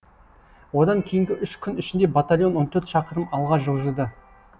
одан кейінгі үш күн ішінде батальон он төрт шақырым алға жылжыды